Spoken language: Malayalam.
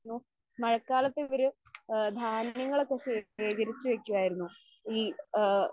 മഴക്കാലത്ത് ഇവര് ആ ധാന്യങ്ങളൊക്കെ ശേഖരിച്ച് വക്കുമായിരുന്നു. ഈ ആ